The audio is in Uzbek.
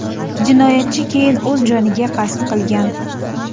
Jinoyatchi keyin o‘z joniga qasd qilgan.